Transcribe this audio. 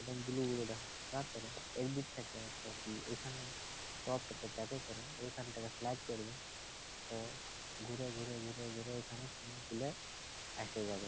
একদম blue blue দেখাচ্ছে | তারপরে এই দিক থেকে এটি ওইখানে টপটাতে চাপে পরে ওইখানটাকে স্লাইড করবে তো ঘুরে ঘুরে ঘুরে ঘুরে এইখানে সুইমিং পুল -এ আইসে যাবে |